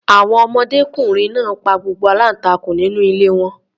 Àwọn ọmọdékùnrin náà pa gbogbo aláǹtakùn nínú ilé wọn.